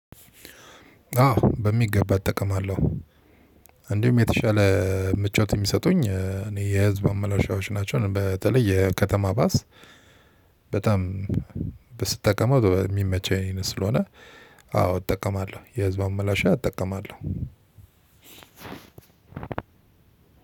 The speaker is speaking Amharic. አዎ በሚገባ እጠቀማለሁ። እንዲሁም የተሻለ ምቾት የሚሰጡኝ እኔ የህዝብ መመላለሻዎች ናቸው። በተለይ የከተማ ባስ በጣም ስጠቀመው በሚመቸኝ ስለሆነ አዎ እጠቀማለሁ። የህዝብ ማመላለሻ እጠቀማለሁ።